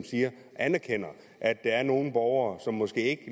anerkender at der er nogle borgere som måske ikke